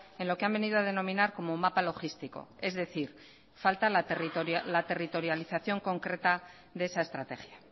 en lo que han venido a denominar como mapa logístico es decir falta la territorialización concreta de esa estrategia